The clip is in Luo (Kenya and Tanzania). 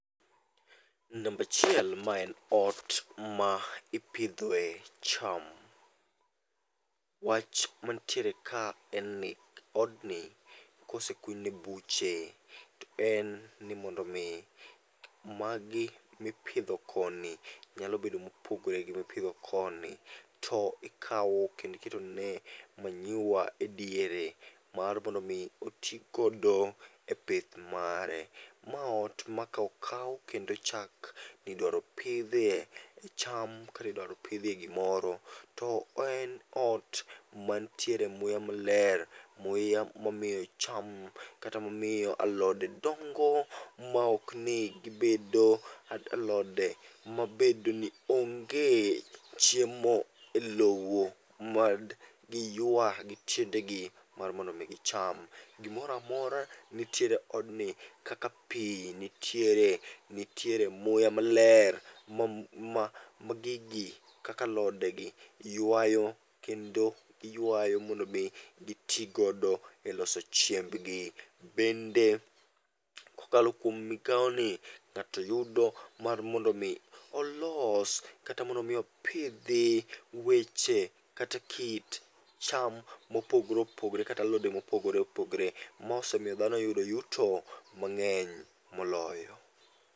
Nambachiel ma en ot ma ipidhoe cham. Wach mantiere ka en ni odni kosekunyne buche to en ni mondo mi magi mipidho koni nyalo bedo mopogore gi mipidho koni. To ikawo kendi ketone manyiwa e diere mar mondo mi otigodo e pith mare. Ma ot ma ka okaw kendo ochak nidwaro pidhie cham katidwaro pidhie gimoro, to en ot mantiere muya maler. Muya momiyo cham kata mamiyo alode dongo maok ni gibedo alode mabedo ni onge chiemo e lowo mad giyua gi tiende gi mar mondo mi gicham. Gimoramora nitiere odni kaka pi nitiere, nitiere muya maler ma ma gigi kaka alode gi ywayo. Kendo giywayo mondo mi giti godo e loso chiembgi. Bende kokalo kuom migawo ni, ng'ato yudo mar mondo mi olos kata mondo mi opidhi weche kata kit cham mopogore opogore kata alode mopogore opogore. Ma osemiyo dhano oyudo yuto mang'eny moloyo.